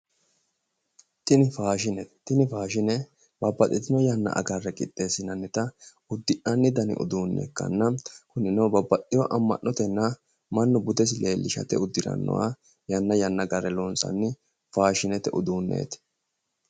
Tini faashinete, tini faashine babbaxxitino yanna agarre qixxeessinannita uddi'nanni dani uddunne ikkanna kunino babbaxxewo amma'notenna mannu budensi leellishate uddirannoya yanna yanna agarre loonsanniha loonsanni faashinete uduunneeti